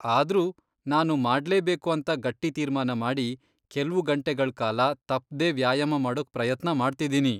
ಆದ್ರೂ ನಾನು ಮಾಡ್ಲೇಬೇಕು ಅಂತ ಗಟ್ಟಿ ತೀರ್ಮಾನ ಮಾಡಿ ಕೆಲ್ವು ಗಂಟೆಗಳ್ ಕಾಲ ತಪ್ದೇ ವ್ಯಾಯಾಮ ಮಾಡೋಕ್ ಪ್ರಯತ್ನ ಮಾಡ್ತಿದೀನಿ.